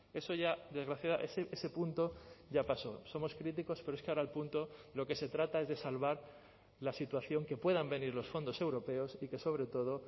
eso ya desgraciada ese punto ya pasó somos críticos pero es que ahora el punto lo que se trata es de salvar la situación que puedan venir los fondos europeos y que sobre todo